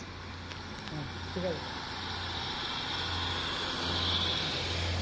হ্যাঁ ঠিক আছে